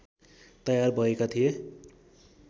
तयार भएका थिए